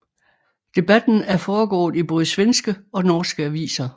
Debatten er foregået i både svenske og norske aviser